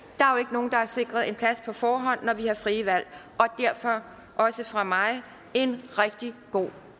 nogen der er sikret en plads på forhånd når vi har frie valg og derfor også fra mig en rigtig god